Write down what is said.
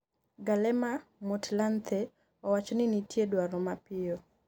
Kgalema Motlanthe owacho ni nitie dwaro mapiyo